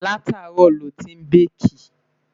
látàárò ló tin baki